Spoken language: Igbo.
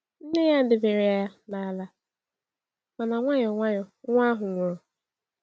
Nne ya debere ya n’ala, mana nwayọ nwayọ, nwa ahụ nwụrụ.